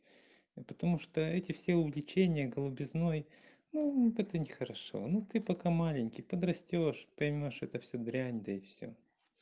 и потому что эти все увлечения голубизной ну это не хорошо ну ты пока маленький подрастёшь поймёшь что это всё дрянь да и всё